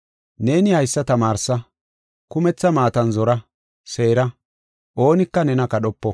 Neeni haysa tamaarsa; kumetha maatan zora, seera; oonika nena kadhopo.